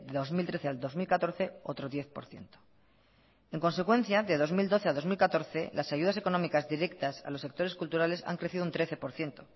dos mil trece al dos mil catorce otro diez por ciento en consecuencia de dos mil doce a dos mil catorce las ayudas económicas directas a los sectores culturales han crecido un trece por ciento